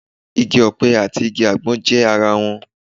Igi ọ̀pẹ àti igi àgbọn jọ ara wọn